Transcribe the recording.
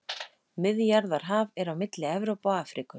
Miðjarðarhaf er á milli Evrópu og Afríku.